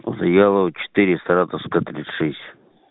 завьялова четыре саратовская тридцать шесть